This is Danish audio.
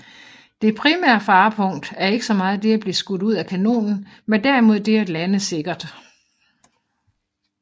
Det primære farepunkt er ikke så meget det at blive skudt ud af kanonen men derimod det at lande sikkert